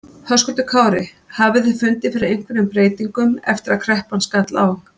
Höskuldur Kári: Hafið þið fundið fyrir einhverjum breytingum eftir að kreppan skall á?